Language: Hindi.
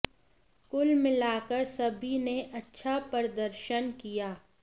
कुल मिला कर सभी ने अच्छा प्रदर्शन किया